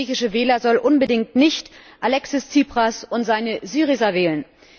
Denn der griechische Wähler soll unbedingt nicht Alexis Tsipras und seine Syriza wählen.